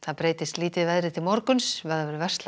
breytist lítið til morguns